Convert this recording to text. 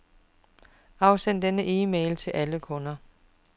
Afsend denne e-mail til alle kunder.